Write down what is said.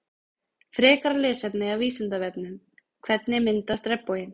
Frekara lesefni af Vísindavefnum Hvernig myndast regnboginn?